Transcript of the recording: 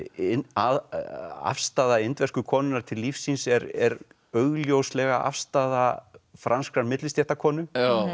afstaða inversku konunnar til lífsins er er augljóslega afstaða franskrar millistéttarkonu